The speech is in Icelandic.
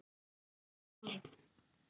Smári